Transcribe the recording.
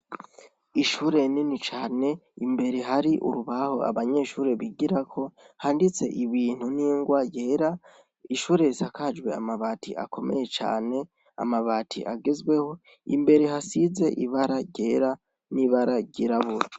Ishure rinini cane imbere hari urubaho abanyeshure bigirako, Handitse ibintu n'ingwa yera, Ishure risakajwe amabati akomeye cane, amabati agezweho, imbere hasizwe ibara ryera n'ibara ryirabura.